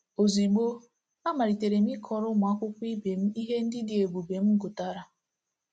Ozugbo, a malitere m ịkọrọ ụmụ akwụkwọ ibe m ihe ndị dị ebube m gụtara.